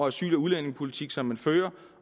asyl og udlændingepolitik som man fører